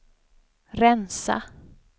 rensa